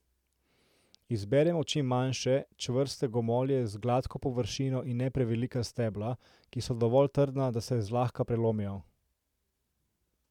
Izberimo čim manjše, čvrste gomolje z gladko površino in ne prevelika stebla, ki so dovolj trdna, da se zlahka prelomijo.